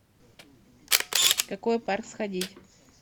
в какой парк сходить